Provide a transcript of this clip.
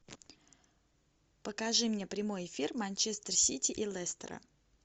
покажи мне прямой эфир манчестер сити и лестера